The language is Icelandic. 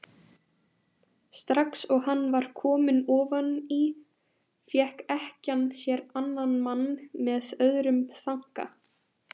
Strax og hann var kominn ofan í fékk ekkjan sér annan mann með öðrum þanka.